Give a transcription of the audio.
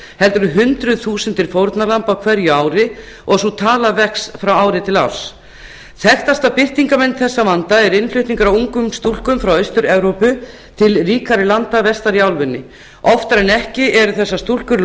heldur hundruð þúsunda fórnarlamba á hverju ári og sú tala vex frá ári til ár þekktasta birtingarmynd þessa vanda er innflutningur á ungum stúlkum frá austur evrópu til ríkari landa vestar í álfunni oftar en ekki eru þessar stúlkur